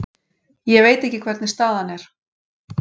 Ég veit ekki hvernig staðan er.